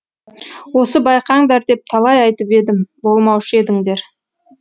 осы байқаңдар деп талай айтып едім болмаушы едіңдер